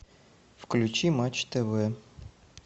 включи матч тв